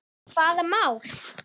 Hvaða mál?